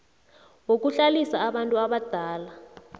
wokuhlalisa abantu abadala